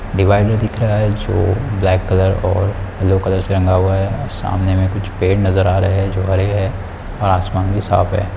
Divider दिख रहा है। जो ब्लैक कलर और येल्लो कलर से रंगा हुआ है। सामने कुछ पेड़ नजर आ रहे है जो हरे है और आसमान भी साफ है।